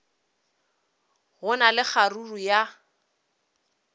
go na le kgaruru ya